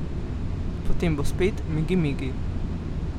Potem bo spet migi migi.